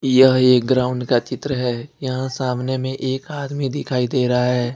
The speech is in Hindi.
यह एक ग्राउंड का चित्र है यहां सामने में एक आदमी दिखाई दे रहा है।